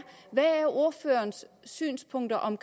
hvad ordførerens synspunkter om